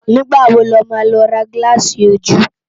Nigbá wó ló má lò rá gilási ójú?